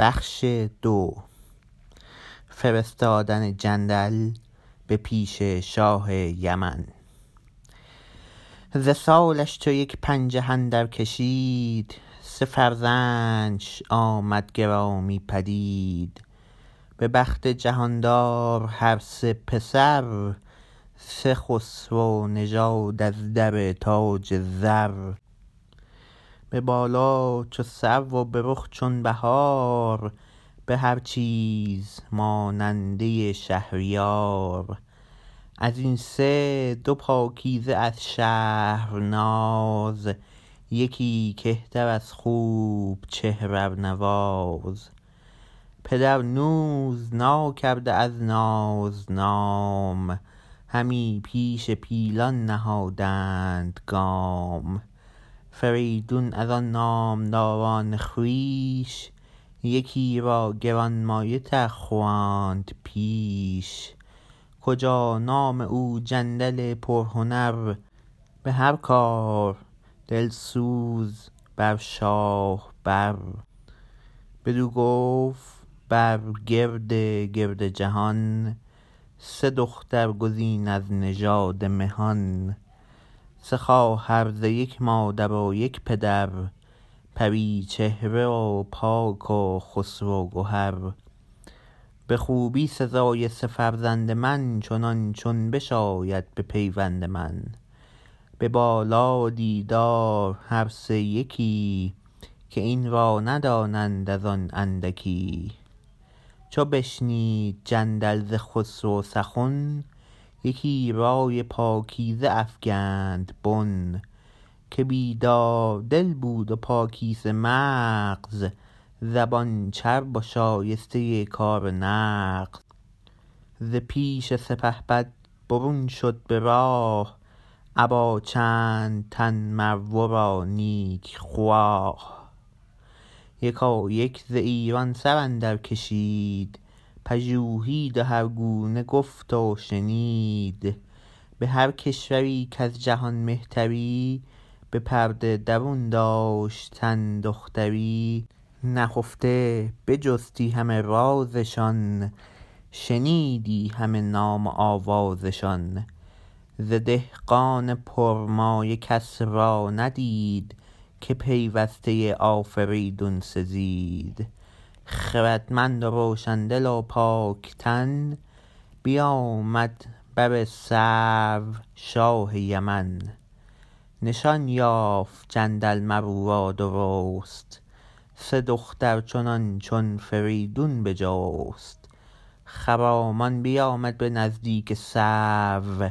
ز سالش چو یک پنجه اندر کشید سه فرزند ش آمد گرامی پدید به بخت جهاندار هر سه پسر سه خسرو نژاد از در تاج زر به بالا چو سرو و به رخ چون بهار به هر چیز ماننده شهریار از این سه دو پاکیزه از شهرناز یکی کهتر از خوب چهر ارنواز پدر نوز ناکرده از ناز نام همی پیش پیلان نهادند گام فریدون از آن نامداران خویش یکی را گرانمایه تر خواند پیش کجا نام او جندل پرهنر به هر کار دلسوز بر شاه بر بدو گفت برگرد گرد جهان سه دختر گزین از نژاد مهان سه خواهر ز یک مادر و یک پدر پری چهره و پاک و خسرو گهر به خوبی سزای سه فرزند من چنان چون بشاید به پیوند من به بالا و دیدار هر سه یکی که این را ندانند ازان اندکی چو بشنید جندل ز خسرو سخن یکی رای پاکیزه افگند بن که بیدار دل بود و پاکیزه مغز زبان چرب و شایسته کار نغز ز پیش سپهبد برون شد به راه ابا چند تن مر ورا نیکخواه یکایک ز ایران سراندر کشید پژوهید و هرگونه گفت و شنید به هر کشوری کز جهان مهتری به پرده درون داشتن دختری نهفته بجستی همه راز شان شنیدی همه نام و آواز شان ز دهقان پر مایه کس را ندید که پیوسته آفریدون سزید خردمند و روشن دل و پاک تن بیامد بر سرو شاه یمن نشان یافت جندل مر اورا درست سه دختر چنان چون فریدون بجست خرامان بیامد به نزدیک سرو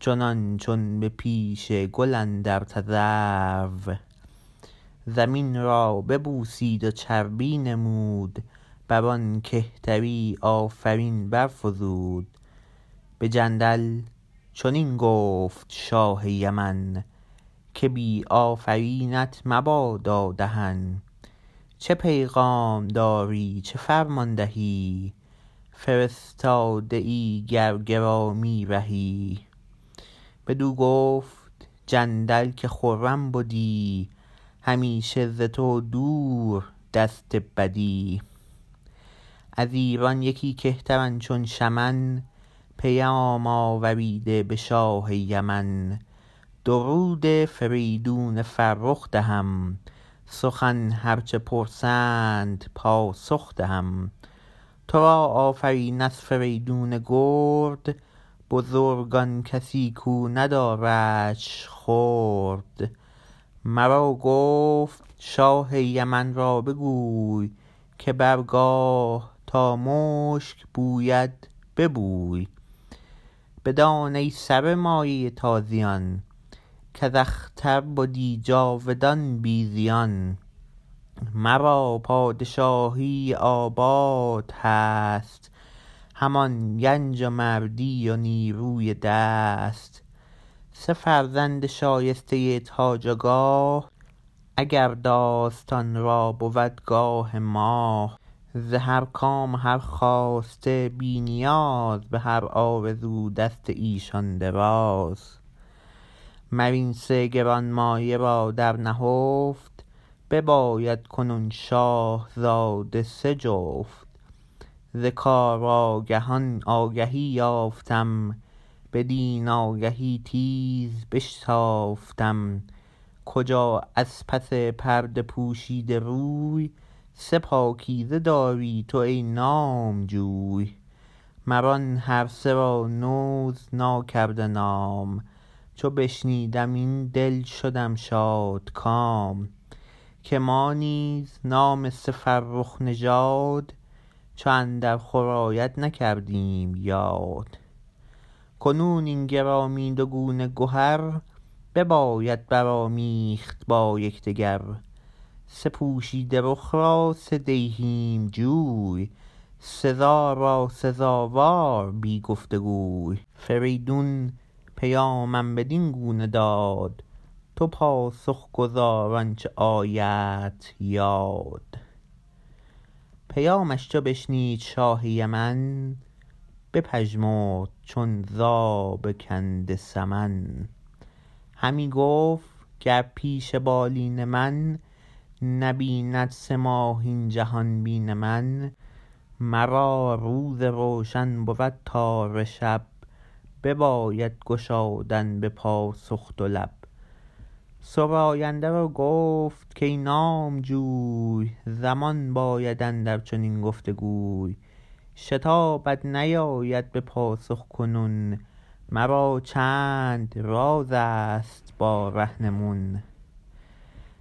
چنان چون به پیش گل اندر تذرو زمین را ببوسید و چربی نمود برآن کهتری آفرین برفزود به جندل چنین گفت شاه یمن که بی آفرینت مبادا دهن چه پیغام داری چه فرمان دهی فرستاده ای گر گرامی رهی بدو گفت جندل که خرم بدی همیشه ز تو دور دست بدی از ایران یکی کهترم چون شمن پیام آوریده به شاه یمن درود فریدون فرخ دهم سخن هر چه پرسند پاسخ دهم ترا آفرین از فریدون گرد بزرگ آن کسی کو نداردش خرد مرا گفت شاه یمن را بگوی که بر گاه تا مشک بوید ببوی بدان ای سر مایه تازیان کز اختر بدی جاودان بی زیان مرا پادشاهی آباد هست همان گنج و مردی و نیروی دست سه فرزند شایسته تاج و گاه اگر داستان را بود گاه ماه ز هر کام و هر خواسته بی نیاز به هر آرزو دست ایشان دراز مر این سه گرانمایه را در نهفت بباید کنون شاهزاده سه جفت ز کار آگهان آگهی یافتم بدین آگهی تیز بشتافتم کجا از پس پرده پوشیده روی سه پاکیزه داری تو ای نامجوی مران هرسه را نوز ناکرده نام چو بشنیدم این دل شدم شادکام که ما نیز نام سه فرخ نژاد چو اندر خور آید نکردیم یاد کنون این گرامی دو گونه گهر بباید برآمیخت با یکدگر سه پوشیده رخ را سه دیهیم جوی سزا را سزاوار بی گفت وگوی فریدون پیامم بدین گونه داد تو پاسخ گزار آنچه آیدت یاد پیامش چو بشنید شاه یمن بپژمرد چون زاب کنده سمن همی گفت گر پیش بالین من نبیند سه ماه این جهان بین من مرا روز روشن بود تاره شب بباید گشادن به پاسخ دو لب سراینده را گفت کای نامجوی زمان باید اندر چنین گفت گوی شتابت نباید به پاسخ کنون مرا چند راز ست با رهنمون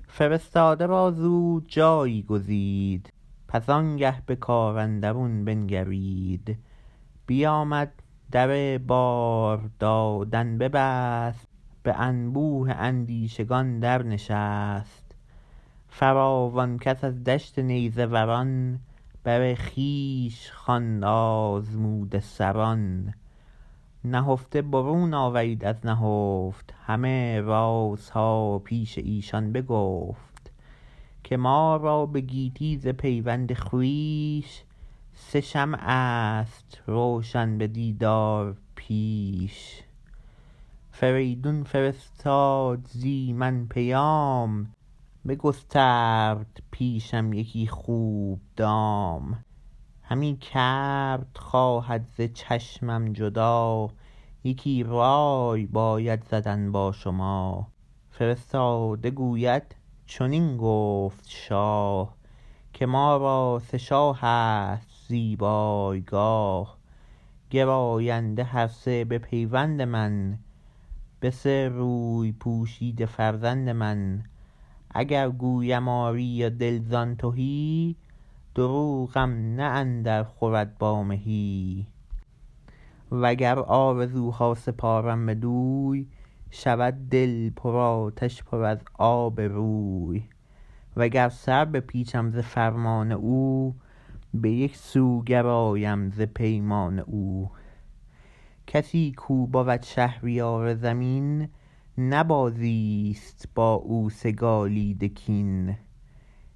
فرستاده را زود جایی گزید پس آنگه به کار اندرون بنگرید بیامد در بار دادن ببست به انبوه اندیشگان در نشست فراوان کس از دشت نیزه وران بر خویش خواند آزموده سران نهفته برون آورید از نهفت همه راز ها پیش ایشان بگفت که ما را به گیتی ز پیوند خویش سه شمع ست روشن به دیدار پیش فریدون فرستاد زی من پیام بگسترد پیشم یکی خوب دام همی کرد خواهد ز چشمم جدا یکی رای باید زدن با شما فرستاده گوید چنین گفت شاه که ما را سه شاه ست زیبای گاه گراینده هر سه به پیوند من به سه روی پوشیده فرزند من اگر گویم آری و دل زان تهی دروغم نه اندر خورد با مهی وگر آرزو ها سپارم بدوی شود دل پر آتش پر از آب روی وگر سر بپیچم ز فرمان او به یک سو گرایم ز پیمان او کسی کو بود شهریار زمین نه بازی ست با او سگالید کین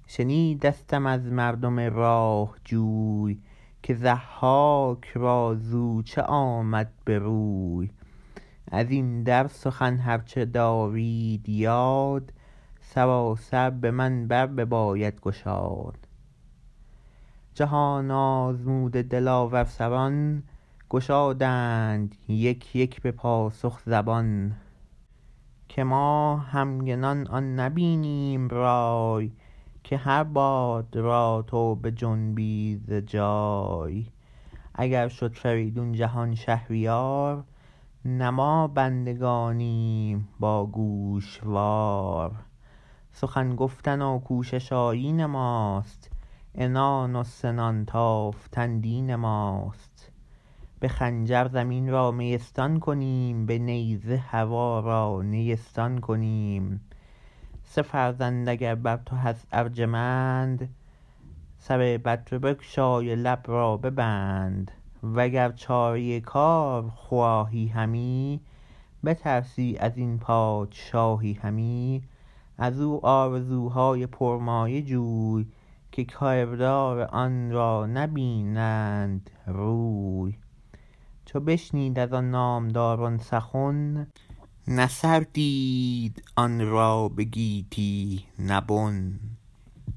شنیدستم از مردم راه جوی که ضحاک را زو چه آمد بروی ازین در سخن هر چه دارید یاد سراسر به من بر بباید گشاد جهان آزموده دلاور سران گشادند یک یک به پاسخ زبان که ما همگنان آن نبینیم رای که هر باد را تو بجنبی ز جای اگر شد فریدون جهان شهریار نه ما بندگانیم با گوشوار سخن گفتن و کوشش آیین ماست عنان و سنان تافتن دین ماست به خنجر زمین را میستان کنیم به نیزه هوا را نیستان کنیم سه فرزند اگر بر تو هست ارجمند سر بدره بگشای و لب را ببند و گر چاره کار خواهی همی بترسی ازین پادشاهی همی ازو آرزو های پرمایه جوی که کردار آنرا نبینند روی چو بشنید از آن نامداران سخن نه سر دید آن را به گیتی نه بن